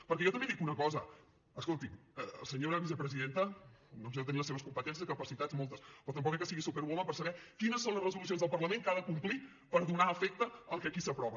perquè jo també dic una cosa escoltin la senyora vicepresidenta doncs deu tenir les seves competències capacitats moltes però tampoc crec que sigui superwoman per saber quines són les resolucions del parlament que ha de complir per donar efecte al que aquí s’aprova